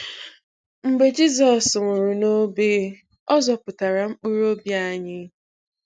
Mgbe Jizọs nwụrụ n’obe, ọ zọpụtara mkpụrụ obi anyị.